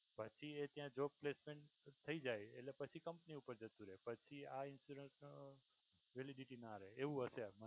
પછી એ ત્યાં job placement થઈ જાય એટલે પછી company પર જતું રહે. પછી આ insurance validity ના રહે એવું હશે.